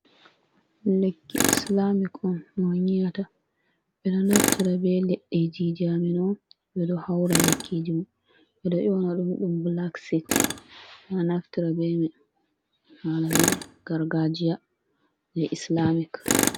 Lekki islamic on no nyiyata bedo naftara be ledde ji ji, amino be do haura lekkiji mo bedo onadum dum blacksit beda naftara be mai, hala dume, gargajia je islamic.